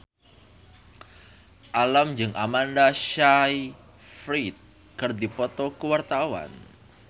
Alam jeung Amanda Sayfried keur dipoto ku wartawan